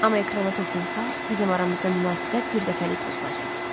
Amma ekrana toxunsaz, bizim aramızda münasibət birdəfəlik pozulacaq.